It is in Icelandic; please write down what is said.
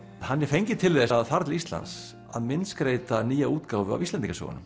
hann er fenginn til þess að fara til Íslands að myndskreyta nýja útgáfu af Íslendingasögunum